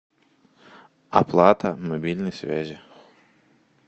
оплата мобильной связи